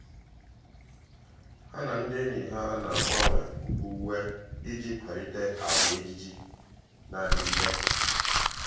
há na ndị ényì há nà-ágbànwè uwe iji kwàlị́tè àgwà ejiji nà-adị́gídè.